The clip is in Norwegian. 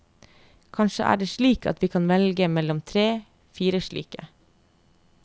Kanskje er det slik at vi kan velge mellom tre, fire slike.